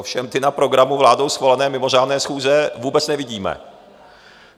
Ovšem ty na programu vládou schválené mimořádné schůze vůbec nevidíme.